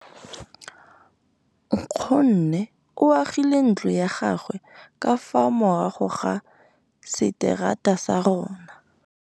Nkgonne o agile ntlo ya gagwe ka fa morago ga seterata sa rona.